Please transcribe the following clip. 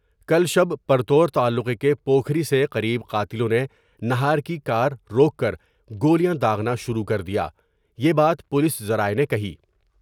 کل شب پرتو ر تعلقے کے پوکھری سے قریب قاتلوں نے نہار کی کارروک کر گولیاں داغنا شروع کر دیا یہ بات پولس ذرائع نے کہی ۔